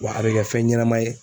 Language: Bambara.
Wa a bɛ kɛ fɛn ɲɛnɛma ye.